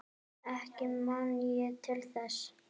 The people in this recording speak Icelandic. Ekki man ég til þess.